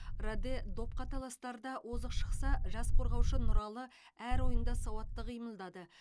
раде допқа таластарда озық шықса жас қорғаушы нұралы әр ойында сауатты қимылдады